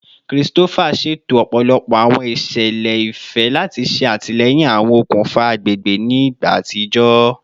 Christopher ṣeto ọpọlọpọ awọn iṣẹlẹ ifẹ lati ṣe atilẹyin awọn okunfa agbegbe ni igba atijọ